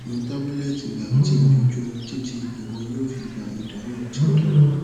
mu tabulẹti biotin ojoojumọ titi iwọ yoo fi gba idahun ti o dara